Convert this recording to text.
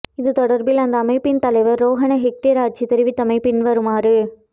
இது தொடர்பில் அந்த அமைப்பின் தலைவர் ரோகண ஹெட்டிராய்ச்சி தெரிவித்தவை பின்வருமாறு